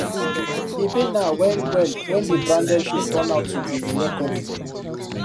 e pain her wellwell when di branded shoes turn out to be yeye copy